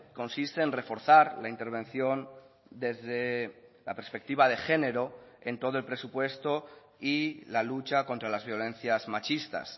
consiste en reforzar la intervención desde la perspectiva de género en todo el presupuesto y la lucha contra las violencias machistas